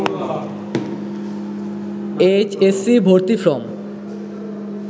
H S C ভর্তি form